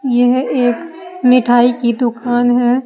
यह एक मिठाई की दुकान है।